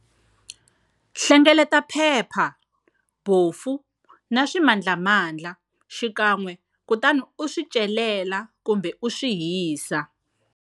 Hlengeleta phepha, bofu na swimandlamandla xikan'we kutani u swi celela kumbe u swi hisa.